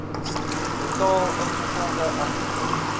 betaal ingevolge artikel